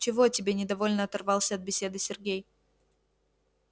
чего тебе недовольно оторвался от беседы сергей